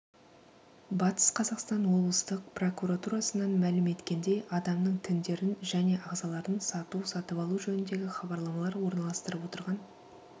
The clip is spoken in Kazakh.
батыс қазақстан облыстық прокуратурасынан мәлім еткендей адамның тіндерін және ағзаларын сату-сатып алу жөніндегі хабарламалар орналастырып отырған